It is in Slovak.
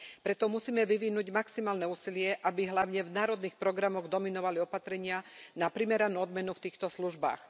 Preto musíme vyvinúť maximálne úsilie, aby hlavne v národných programoch dominovali opatrenia na primeranú odmenu v týchto službách.